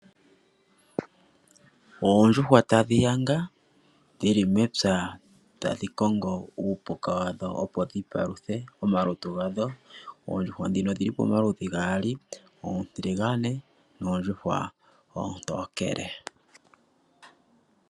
Oondjuhwa yadhi yanga dhi li mepya tadhi kongo uupuka wadho opo dhi paluthe omalutu gadho. Oondjuhwa ndhino odhi li pamaludhi gaali, oontiligane noondjuhwa oontokele.